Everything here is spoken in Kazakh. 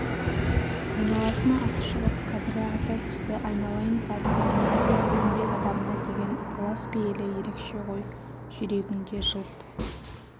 айналасына аты шығып қадыры арта түсті айналайын партияның еңбек адамына деген ықылас-пейілі ерекше ғой жүрегіңде жылт